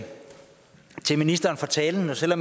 reducere